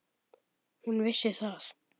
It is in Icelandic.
Hún vissi það.